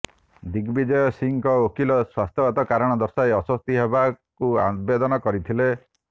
ଦିଗବିଜୟ ସିଂହଙ୍କ ଓକିଲ ସ୍ବାସ୍ଥ୍ୟଗତ କାରଣ ଦର୍ଶାଇ ଆଶ୍ବସ୍ତି ଦେବାକୁ ଆବେଦନ କରିଥିଲେ